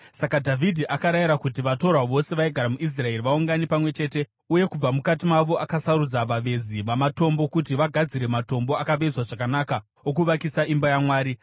Saka Dhavhidhi akarayira kuti vatorwa vose vaigara muIsraeri vaungane pamwe chete, uye kubva mukati mavo akasarudza vavezi vamatombo kuti vagadzire matombo akavezwa zvakanaka okuvakisa imba yaMwari.